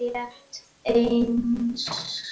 Rétt einsog